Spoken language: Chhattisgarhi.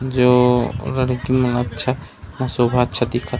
जो लड़की मन अच्छा ह सोभा अच्छा दिखत--